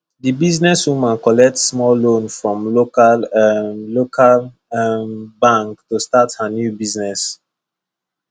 the businesswoman collect small loan from local um local um bank to start her new business